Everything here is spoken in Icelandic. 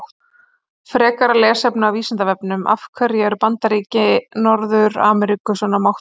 Frekara lesefni á Vísindavefnum: Af hverju eru Bandaríki Norður-Ameríku svona máttug?